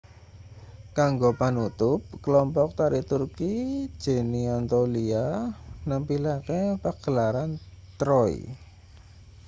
kanggo panutup kelompok tari turki geni anatolia nampilake pagelaran troy